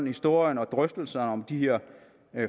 historien og drøftelserne om de her